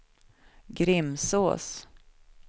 Grimsås